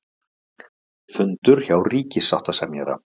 Funda hjá ríkissáttasemjara